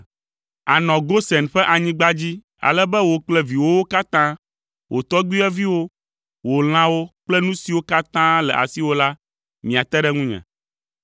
Ànɔ Gosen ƒe anyigba dzi, ale be wò kple viwòwo katã, wò tɔgbuiyɔviwo, wò lãwo kple nu siwo katã le asiwò la, miate ɖe ŋunye.